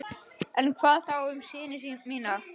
En hvað þá um syni mína?